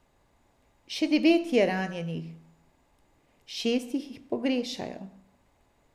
Še devet je ranjenih, šest jih pogrešajo.